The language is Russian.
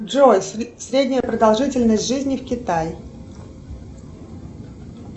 джой средняя продолжительность жизни в китае